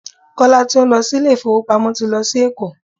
Kọ́lá tí ó ń lọ sí ilé ìfowópamọ́ ti lọ sí Èkó.